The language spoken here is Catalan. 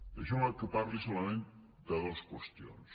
deixeu me que parli solament de dues qüestions